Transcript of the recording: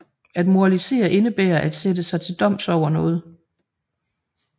At moralisere indebærer at sætte sig til doms over noget